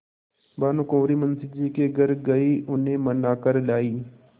भानुकुँवरि मुंशी जी के घर गयी उन्हें मना कर लायीं